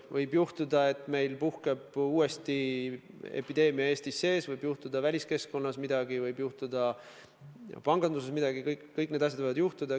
Võib juhtuda, et puhkeb uuesti epideemia Eestis sees, võib juhtuda väliskeskkonnas midagi, võib juhtuda panganduses midagi – kõik need asjad võivad juhtuda.